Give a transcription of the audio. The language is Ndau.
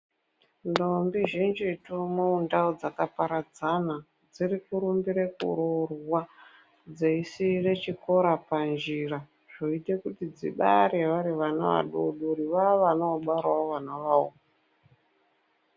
Ndombi zhinjitu mundau dzakaparadzana dzirikurumbire kurorwa, dzeisire chikora panjira, zvoite kuti dzibare vari vana vadodori, vavana vobarawo vanavawo.